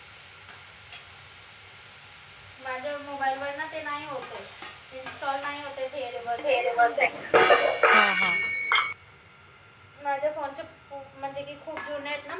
माझ्या mobile वर न ते नाही होत ए ते install नाई होत ए माझं phone च म्हनजे की खूप जून आहेत न